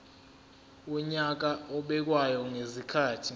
wonyaka obekwayo ngezikhathi